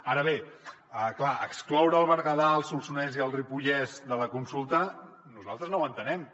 ara bé clar excloure el berguedà el solsonès i el ripollès de la consulta nosaltres no ho entenem